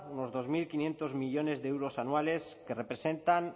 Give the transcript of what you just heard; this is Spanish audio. unos dos mil quinientos millónes de euros anuales que representan